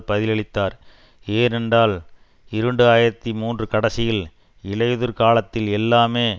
பதிலளித்தார் ஏனென்றால் இரண்டு ஆயிரத்தி மூன்று கடைசியில் இலையுதிர் காலத்தில் எல்லாமே